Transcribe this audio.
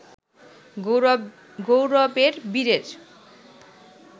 গৌরবের বীরের